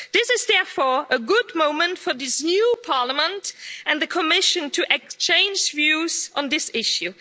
This is therefore a good moment for this new Parliament and the Commission to exchange views on this issue.